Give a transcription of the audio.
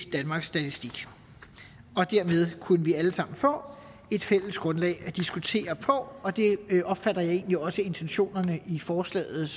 danmarks statistik og dermed kunne vi alle sammen få et fælles grundlag at diskutere på og det opfatter jeg egentlig også intentionerne i forslaget